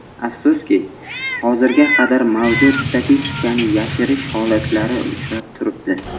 Afsuski hozirga qadar mavjud statistikani yashirish holatlari uchrab turibdi.